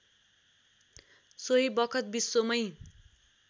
सोही बखत विश्वमै